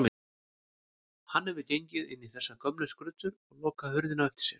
Hann hefur gengið inn í þessar gömlu skruddur og lokað hurðinni á eftir sér.